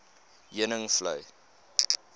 heuningvlei